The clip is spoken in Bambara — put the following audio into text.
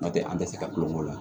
N'o tɛ an tɛ se ka kulonkɛ la